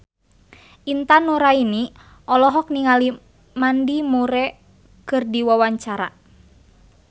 Intan Nuraini olohok ningali Mandy Moore keur diwawancara